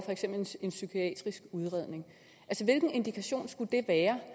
en psykiatrisk udredning hvilken indikation skulle det være